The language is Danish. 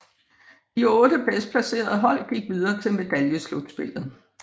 De otte bedst placerede hold gik videre til medaljeslutspillet